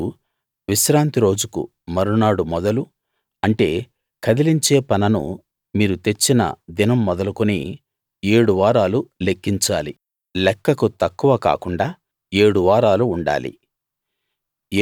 మీరు విశ్రాంతి రోజుకు మరునాడు మొదలు అంటే కదిలించే పనను మీరు తెచ్చిన దినం మొదలు కుని ఏడు వారాలు లెక్కించాలి లెక్కకు తక్కువ కాకుండా ఏడు వారాలు ఉండాలి